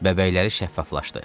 Bəbərləri şəffaflaşdı.